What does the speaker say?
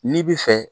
N'i bi fɛ